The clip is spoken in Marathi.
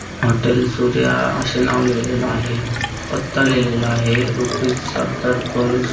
हॉटेल सूर्या असे नाव लिहलेले आहे पत्ता लिहलेला आहे. रुपीस सत्तर पर --